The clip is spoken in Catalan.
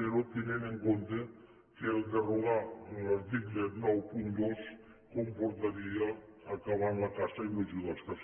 però tenint en compte que derogar l’article noranta dos comportaria acabar amb la caça i no ajudar els caçadors